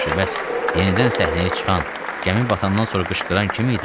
Yaxşı, bəs yenidən səhnəyə çıxan, gəmi batandan sonra qışqıran kim idi?